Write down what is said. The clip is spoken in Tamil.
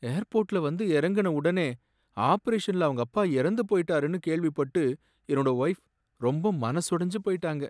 ஏர்போர்ட்ல வந்து இறங்குன உடனே, ஆபரேஷன்ல அவங்க அப்பா இறந்து போயிட்டாருன்னு கேள்விப்பட்டு என்னோட வொய்ஃ ரொம்ப மனசொடைஞ்சு போயிட்டாங்க.